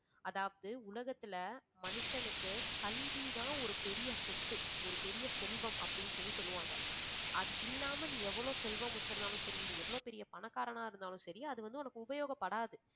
அதாவது உலகத்துல மனுஷனுக்கு கல்விதான் ஒரு பெரிய சொத்து, ஒரு பெரிய செல்வம் அப்படின்னு சொல்லி சொல்லுவாங்க. அது இல்லாம நீ எவ்வளவு செல்வம் வச்சிருந்தாலும் சரி நீ எவ்வளவு பெரிய பணக்காரனா இருந்தாலும் சரி அது வந்து உனக்கு உபயோகப்படாது